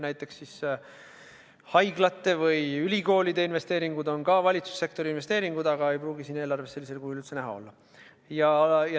Näiteks haiglate või ülikoolide investeeringud on samuti valitsussektori investeeringud, aga need ei pruugi siin eelarves sellisel kujul üldse näha olla.